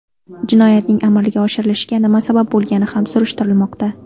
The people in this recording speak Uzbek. Jinoyatning amalga oshirilishiga nima sabab bo‘lgani ham surishtirilmoqda.